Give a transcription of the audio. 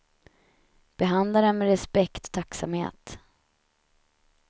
Behandla dem med respekt och tacksamhet.